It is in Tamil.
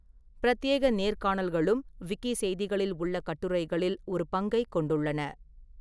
பிரத்யேக நேர்காணல்களும் விக்கிசெய்திகளில் உள்ள கட்டுரைகளில் ஒரு பங்கைக் கொண்டுள்ளன.